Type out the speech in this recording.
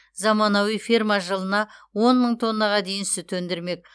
заманауи ферма жылына он мың тоннаға дейін сүт өндірмек